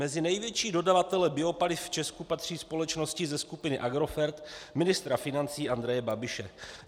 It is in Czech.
Mezi největší dodavatele biopaliv v Česku patří společnosti ze skupiny Agrofert ministra financí Andreje Babiše.